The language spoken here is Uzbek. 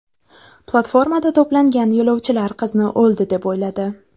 Platformada to‘plangan yo‘lovchilar qizni o‘ldi deb o‘yladi.